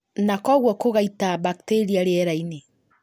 na kwoguo kũgaita bacteria rĩera-inĩ.